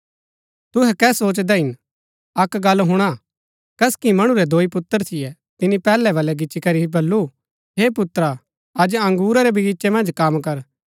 तुहै कै सोचदै हिन अक्क गल्ल हुणा कसकि मणु रै दोई पुत्र थियै तिनी पैहलै वलै गिच्ची करी बल्लू हे पुत्रा अज अंगुरा रै वगीचे मन्ज कम कर